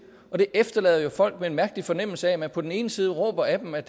det efterlader jo folk med en mærkelig fornemmelse af at man på den ene side råber af dem at